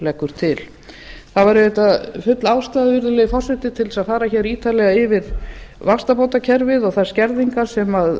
leggur til það væri auðvitað full ástæða virðulegi forseti til þess að fara hér ítarlega yfir vaxtabótakerfið og þær skerðingar sem